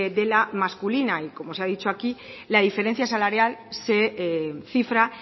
de la masculina y como se ha dicho aquí la diferencia salarial se cifra